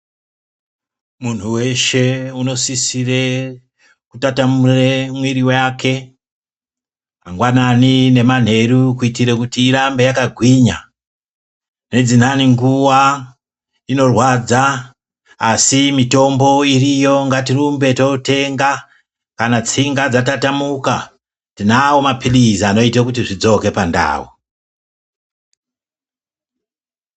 Munhu weshe unosisire kutatamure mwiri yake, mangwanani nemanheru kuitire kuti irambe yakagwinya. Nedzinhani nguva inorwadza asi mitombo iriyo ngatirumbe totenga. Kana tsinga dzatatamuka tinawo mapirizi anoite kuti zvidzoke pandau.